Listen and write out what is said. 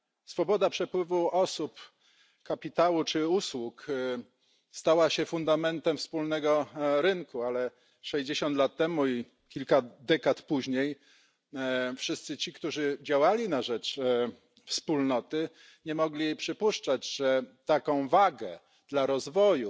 Swoboda przepływu osób, kapitału czy usług stała się fundamentem wspólnego rynku, ale 60 lat temu i kilka dekad później wszyscy ci, którzy działali na rzecz Wspólnoty, nie mogli przypuszczać, że taką wagę dla rozwoju